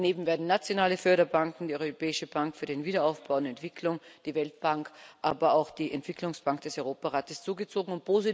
Daneben werden nationale Förderbanken, die Europäische Bank für Wiederaufbau und Entwicklung, die Weltbank, aber auch die Entwicklungsbank des Europarates hinzugezogen.